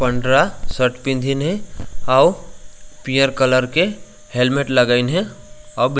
पंडरा शर्ट पिंधीन हे अउ पियर कलर के हेलमेट लगइन हे अब --